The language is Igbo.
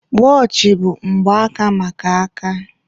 Wọọchị bụ mgbaaka maka aka.